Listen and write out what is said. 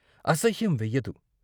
అసహ్యం వెయ్యదు.